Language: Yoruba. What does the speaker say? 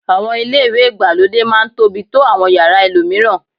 Àwọn ilé ìwẹ̀ ìgbàlódé máá ń tóbi tó àwọn yàrá ẹlòmíràn